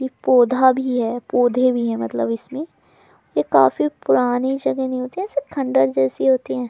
एक पौधा भी है पौधे भी हैं मतलब इसमें ये काफी पुरानी जगह नहीं होती ऐसे खंडहर जैसी होती हैं।